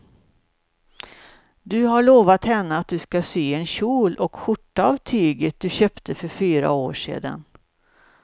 Du har lovat henne att du ska sy en kjol och skjorta av tyget du köpte för fyra år sedan.